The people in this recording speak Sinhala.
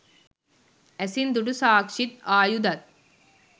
ඇසින් දුටු සාක්‌ෂිත් ආයුධත්